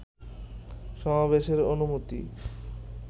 সমাবেশের অনুমতি